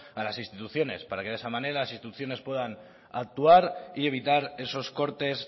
a las instituciones para que de esa manera las instituciones puedan actuar y evitar esos cortes